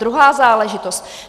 Druhá záležitost.